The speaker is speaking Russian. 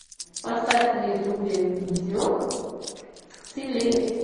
поставь на ютубе видео с ивлеевой